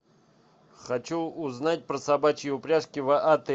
хочу узнать про собачьи упряжки в отеле